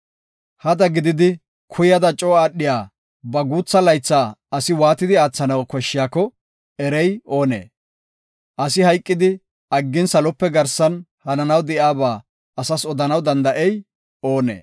Hada gididi kuyada coo aadhiya ba guutha laytha asi waatidi aathanaw koshshiyako erey oonee? Asi hayqidi aggin salope garsan hananaw de7iyaba asas odanaw danda7ey oonee?